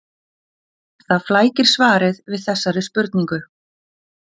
Það flækir svarið við þessari spurningu.